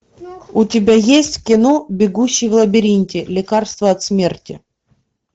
у тебя есть кино бегущий в лабиринте лекарство от смерти